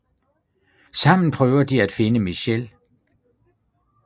Sammen prøver de at finde Michelle